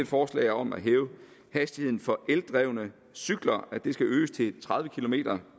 forslag om at hæve hastigheden for eldrevne cykler den skal øges til tredive kilometer